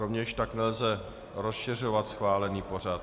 Rovněž tak nelze rozšiřovat schválený pořad.